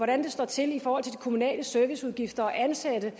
det står til i forhold til de kommunale serviceudgifter og ansatte